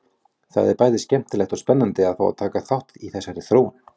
Það er bæði skemmtilegt og spennandi að fá að taka þátt í þessari þróun!